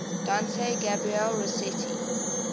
dante gabriel rossetti